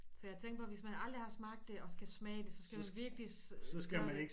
Så jeg tænkte bare hvis man aldrig har smagt det og skal smage det så skal man virkelig gøre det